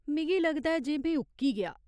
मिगी लगदा ऐ जे में उक्की गेआ।